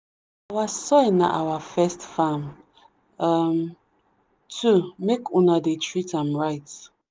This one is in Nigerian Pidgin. our soil na our first farm um too make una dey treat am right.